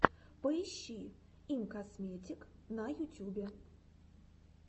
поищи имкосметик на ютюбе